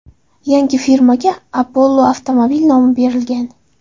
Yangi firmaga Apollo Automobil nomi berilgan.